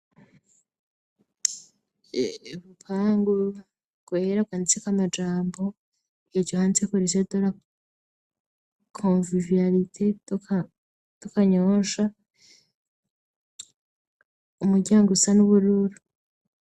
Urupangu rwera rwanditseko amajambo, hejuru handitseko lycée de la convivialité de Kanyosha, umuryango usa n'ubururu.